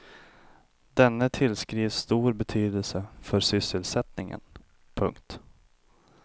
Denne tillskrivs stor betydelse för sysselsättningen. punkt